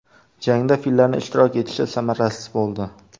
Jangda fillarning ishtirok etishi samarasiz bo‘ldi.